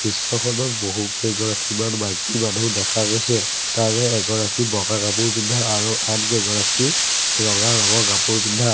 দৃশ্যখনত বহু কেইগৰাকীমান মাইকী মানুহ দেখা গৈছে তাৰে এগৰাকী বগা কাপোৰ পিন্ধা আৰু আন কেইগৰাকী ৰঙা ৰঙৰ কাপোৰ পিন্ধা।